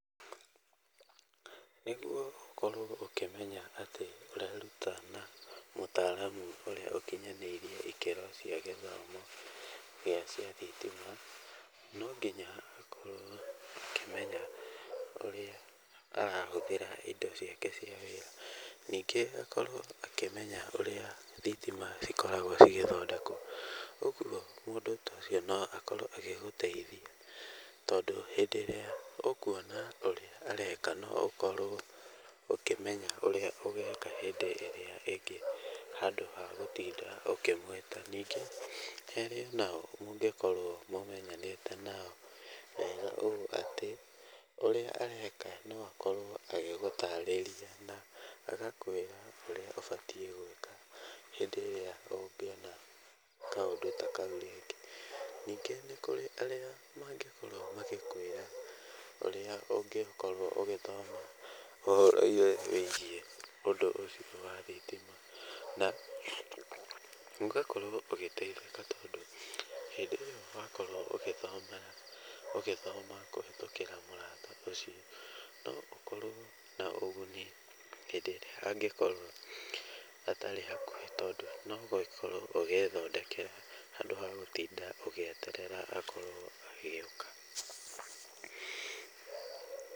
Nĩguo ũkorwo ũkĩmenya atĩ, ũreruta na mũtaramu ũrĩa ũkĩnyanĩirie ikĩro cia gĩthomo kĩa thitima, nonginya akorwo ũkĩmenya ũrĩa arahũthĩra indo ciake cia wĩra, nĩngĩ akorwo akĩmenya ũrĩa thitima cikoragwo cigĩthondekwo. Ũguo mũndũ tocio noakorwo agĩgũteithia, tondũ hĩndĩ ĩrĩa ũkuona ũrĩa areka, no ũkorwo ũkĩmenya ũrĩa ũgeka hĩndĩ ĩrĩa ĩngĩ, handũ wa gũtinda ũkĩmwĩta. Ningĩ harĩ nao ũngĩkorwo ũmenyanĩte nao wega ũũ atĩ, ũrĩa mareka noakorwo agĩgũtarĩria na agakũĩra ũrĩa ũbatiĩ gũĩka hĩndĩ ĩrĩa ũngĩona kaũndũ takau rĩngĩ. Nĩngĩ kwĩna arĩa mangĩkorwo magĩkwĩra ũrĩa ũngĩkorwo ũgĩthoma ũhoro wĩgiĩ ũndũ ũcio wa thitina. Na ũgakorwo ũgĩteithĩka tondũ hĩndĩ ĩrĩa wakorwo ũgĩthoma kũhĩtũkĩra mũrata ũcio, noũkorwo naũguni hĩndĩ ĩrĩa angĩkorwo atarĩ hakuhĩ, tondũ noũkorwo ũgĩthondekera handũ wa gũtinda ũgĩeterera akorwo agĩũka.